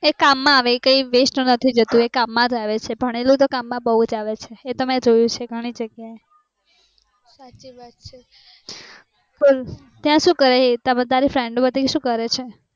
એ કામ માં આવે એ કાય waste ના નથી જતું ભણેલુ તો કામ અ બૌજ આવે છે મેં જોયું વહે ઘણી જગ્યાએ